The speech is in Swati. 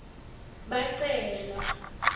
bacelwa